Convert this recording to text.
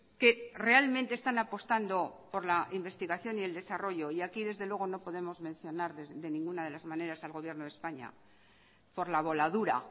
que realmente están apostando por la investigación y el desarrollo y aquí desde luego no podemos mencionar de ninguna de las maneras al gobierno de españa por la voladura